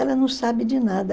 Ela não sabe de nada.